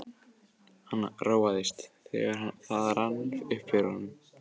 Hann róaðist, þegar það rann upp fyrir honum.